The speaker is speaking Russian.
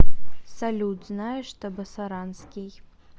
салют знаешь табасаранский